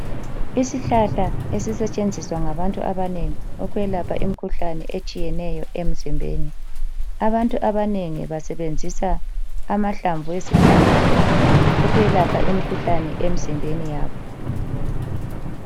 Isihlahla ezisetshenziswa ngabantu abanengi ukwelapha imikhuhlane etshiyeneyo emzimbeni. Abantu abanengi basebenzisa amahlamvu ezihlahla ukwelapha imikhuhlane emzimbeni yabo.